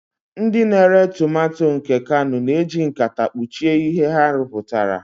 Ndị na-ere tomato nke kano na-eji nkata kpuchie ihe ha rụpụtara.